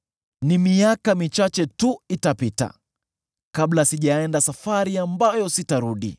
“Ni miaka michache tu itapita kabla sijaenda safari ambayo sitarudi.